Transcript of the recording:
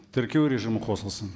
тіркеу режимі қосылсын